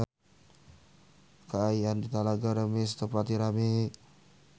Kaayaan di Talaga Remis teu pati rame